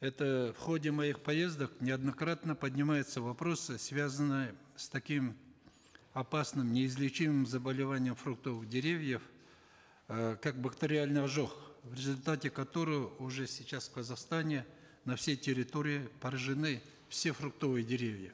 это в ходе моих поездок неоднократно поднимаются вопросы связанные с таким опасным неизлечимым заболеванием фруктовых деревьев э как бактериальный ожог в результате которого уже сейчас в казахстане на всей территории поражены все фруктовые деревья